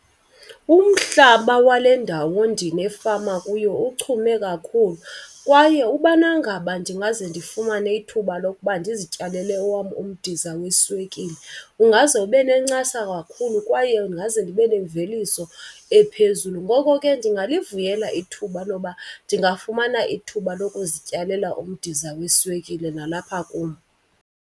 Umhlaba wale ndawo ndinefama kuyo uchume kakhulu kwaye ubana ngaba ndingaze ndifumane ithuba lokuba ndizityalele owam umdiza weswekile ungaze ube nencasa kakhulu kwaye ndingaze ndibe nemveliso ephezulu. Ngoko ke ndingalivuyela ithuba loba ndingafumana ithuba lokuzityalela umdiza weswekile nalapha kum.